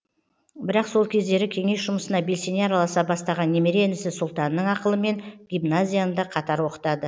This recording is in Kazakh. бірақ сол кездері кеңес жұмысына белсене араласа бастаған немере інісі сұлтанның ақылымен гимназияны да қатар оқытады